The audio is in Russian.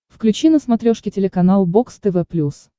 включи на смотрешке телеканал бокс тв плюс